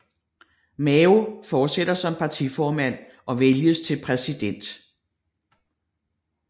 Mao fortsætter som partiformand og vælges til præsident